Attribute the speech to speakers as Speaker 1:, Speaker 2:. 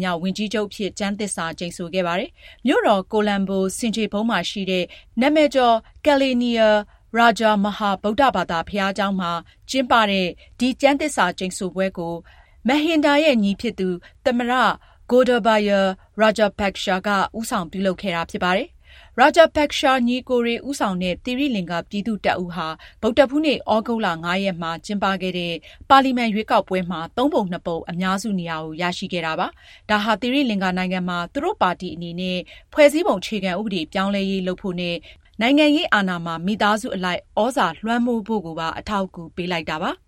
Speaker 1: မြောက် ဝန်ကြီးချုပ်အဖြစ် ကျမ်းသစ္စာ ကျိန်ဆိုခဲ့ပါတယ်။ မြို့တော် ကိုလံဘို ဆင်ခြေဖုံးရှိ နာမည်ကျော် Kelaniya Raja Maha ဗုဒ္ဓဘာသာ ဘုရားကျောင်းမှာ ကျင်းပတဲ့ ဒီကျမ်းသစ္စာကျိန်ဆိုပွဲကို Mahinda ရဲ့ ညီဖြစ်တဲ့ သမ္မတ Gotabaya Rajapaksa ကနေ ဦးဆောင် ပြုလုပ်ခဲ့တာပါ။ Rajapaksa ညီအစ်ကိုတွေ ဦးဆောင်တဲ့ သီရိလင်္ကာ ပြည်သူ့တပ်ဦးဟာ သြဂုတ်လ ၅ ရက်မှာ ကျင်းပခဲ့တဲ့ ပါလီမန်ရွေးကောက်ပွဲမှာ သုံးပုံနှစ်ပုံ အများစုနေရာကို ရရှိခဲ့ပါတယ်။ ဒါဟာ သီရိလင်္ကာနိုင်ငံမှာ သူတို့ပါတီအနေနဲ့ ဖွဲ့စည်းပုံအခြေခံဥပဒေ ပြောင်းလဲရေး လုပ်ဖို့နဲ့ နိုင်ငံရေးအာဏာမှာ မိသားစုအလိုက် သြဇာလွှမ်းမိုးဖို့ကိုပါ အထောက်အကူ ပေးလိုက်တာပါ။